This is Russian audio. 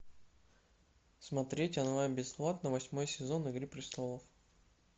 смотреть онлайн бесплатно восьмой сезон игры престолов